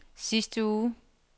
sidste uge